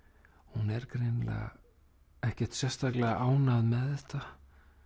hún er greinilega ekkert sérstaklega ánægð með þetta